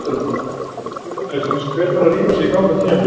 Spurning dagsins: Hver þarf að rífa sig í gang á tímabilinu?